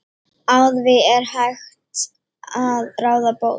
Á því er hægt að ráða bót.